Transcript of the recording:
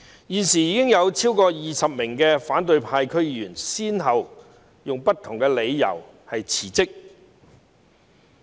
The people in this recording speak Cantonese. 現時已有超過20名反對派區議員先後以不同的理由辭職。